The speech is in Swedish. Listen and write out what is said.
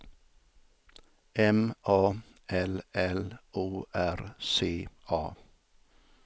M A L L O R C A